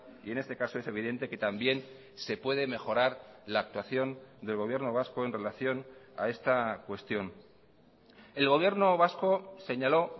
y en este caso es evidente que también se puede mejorar la actuación del gobierno vasco en relación a esta cuestión el gobierno vasco señaló